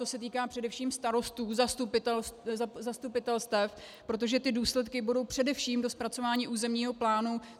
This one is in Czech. To se týká především starostů zastupitelstev, protože ty důsledky budou především do zpracování územního plánu.